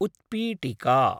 उत्पीटिका